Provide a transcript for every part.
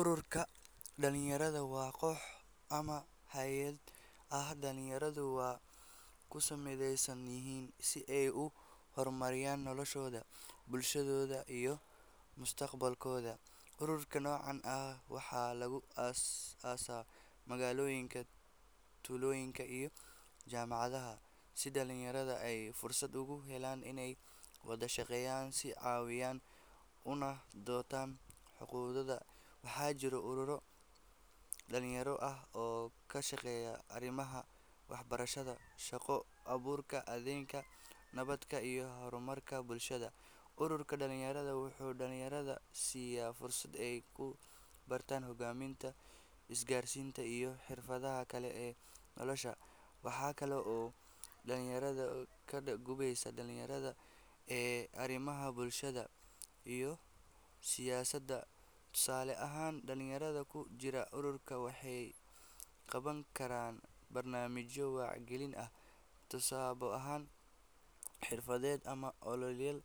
Ururka dhalinyarada waa koox ama hay’ad ay dhalinyaradu ku mideysan yihiin si ay u hormariyaan noloshooda, bulshadooda iyo mustaqbalkooda. Ururada noocan ah waxaa lagu aas-aasaa magaalooyinka, tuulooyinka iyo jaamacadaha si dhalinyarada ay fursad ugu helaan inay wada shaqeeyaan, is-caawiyaan, una doodaan xuquuqdooda. Waxaa jira ururo dhalinyaro oo ka shaqeeya arrimaha waxbarashada, shaqo-abuurka, deegaanka, nabadda iyo horumarka bulshada. Ururka dhalinyarada wuxuu dhalinyarada siiya fursad ay ku bartaan hoggaaminta, isgaarsiinta, iyo xirfadaha kale ee nolosha. Waxa kale oo uu dhiirrigeliyaa ka qeybgalka dhalinyarada ee arrimaha bulshada iyo siyaasadda. Tusaale ahaan, dhalinyaro ku jira urur waxay qaban karaan barnaamijyo wacyigelin ah, tababaro xirfadeed, ama ololeyaal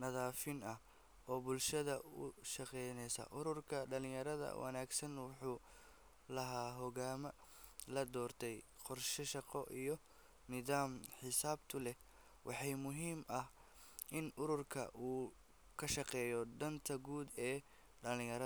nadiifin ah oo bulshada u adeegaya. Ururka dhalinyarada wanaagsan wuxuu lahaadaa hoggaan la doortay, qorshe shaqo, iyo nidaam xisaabtan leh. Waxaa muhiim ah in ururka uu ka shaqeeyo danta guud ee dhalinyarada.